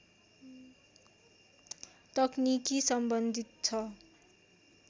तकनिकी सम्बन्धित छ